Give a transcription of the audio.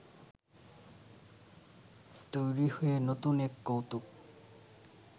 তৈরি হয়ে নতুন এক কৌতুক